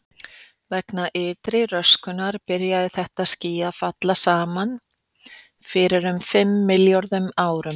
Vegna ytri röskunar byrjaði þetta ský að falla saman fyrir um fimm milljörðum ára.